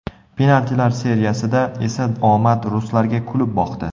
Penaltilar seriyasida esa omad ruslarga kulib boqdi.